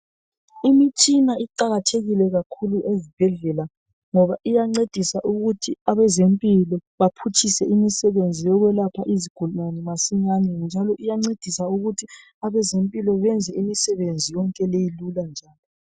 Imitshina iqakathekile kakhulu ezibhedlela ngoba iyancedisa ukuthi abezempilo baphutshise imisebenzi yokwelapha izigulane masinyane. Njalo iyancedisa ukuthi abezempilo benze imisebenzi yonke ibelula.